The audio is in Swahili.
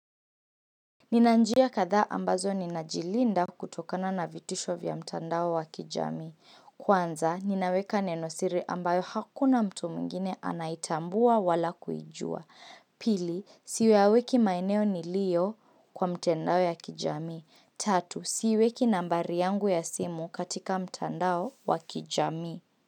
Ninanjia kadhaa ambazo ninajilinda kutokana na vitisho vya mtandao wa kijamii. Kwanza, ninaweka nenosiri ambayo hakuna mtu mwingine anaitambua wala kujua. Pili, siyaweki maeneo nliyo kwa mtandao ya kijami. Tatu, siweki nambari yangu ya simu katika mtandao wa kijami.